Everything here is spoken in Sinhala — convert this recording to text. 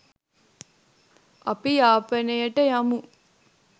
අපි යාපනයට යමු.